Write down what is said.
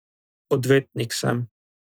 Odvetnik sem.